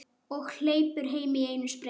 Og hleypur heim í einum spreng.